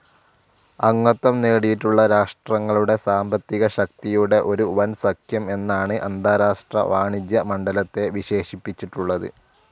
അംഗത്വം നേടിയിട്ടുള്ള രാഷ്ട്രങ്ങളുടെ സാമ്പത്തികശക്തിയുടെ ഒരു വൻസഖ്യം എന്നാണ് അന്താരാഷ്ട്ര വാണിജ്യ മണ്ഡലത്തെ വിശേഷിപ്പിച്ചിട്ടുള്ളത്.